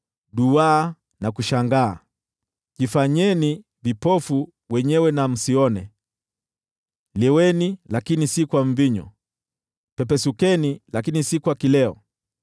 Duwaeni na kushangaa, jifanyeni vipofu wenyewe na msione, leweni, lakini si kwa mvinyo, pepesukeni lakini si kwa kileo.